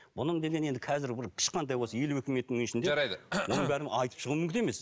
бұның деген енді қазір бір ешқандай осы елу екі минуттың ішінде жарайды оның бәрін айтып шығу мүмкін емес